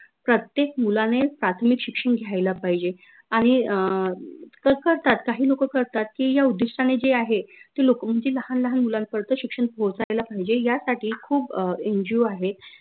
प्रत्येक मुलाने प्राथमिक शिक्षन घ्यायला पाहिजे आनि अं करतात काही लोक करतात की या उद्दिष्टाने जे आहे ते लोक म्हनजे लाहान लाहान मुलां पर्यंत शिक्षन पोहोचायला पाहिजे यासाठी खूप NGO आहे